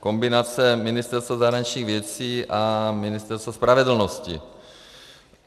Kombinace Ministerstva zahraničních věcí a Ministerstva spravedlnosti.